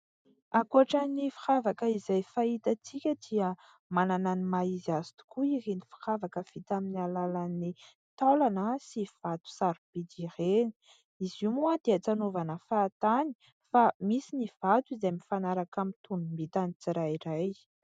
Ankoatra ny firavaka izay fahitantsika dia manana ny maha izy azy tokoa ireny ny firavaka vita amin'ny alalan'ny taolana sy vato sarobidy ireny izy ioa moa dia tsy anaovana fahatany, fa misy ny vato izay mifanaraka amin'ny tonombitany tsirairay.